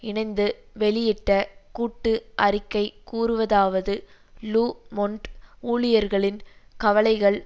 இணைந்து வெளியிட்ட கூட்டு அறிக்கை கூறுவதாவது லு மொன்ட் ஊழியர்களின் கவலைகள்